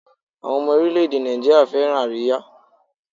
Àwọn ọmọ oríléèdè Nàìjíríà fẹ́ràn àríyá